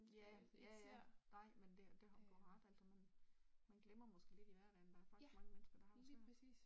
Ja, ja ja, nej, men det du har ret altså man man glemmer måske lidt i hverdagen at der er faktisk mange mennesker, der har det svært